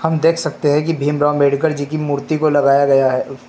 देख सकते हैं कि भीमराव अंबेडकर जी की मूर्ति को लगाया गया है।